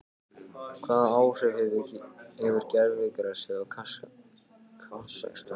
Hvaða áhrif hefur gervigrasið í Kasakstan?